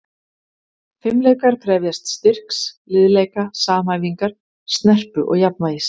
Fimleikar krefjast styrks, liðleika, samhæfingar, snerpu og jafnvægis.